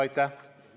Aitäh!